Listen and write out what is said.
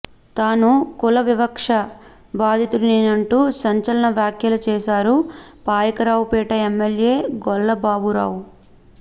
తాను కుల వివక్ష బాధితుడినేనంటూ సంచలన వ్యాఖ్యలు చేశారు పాయకరావుపేట ఎమ్మెల్యే గొల్లబాబురావు